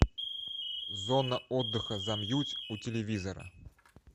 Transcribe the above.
зона отдыха замьють у телевизора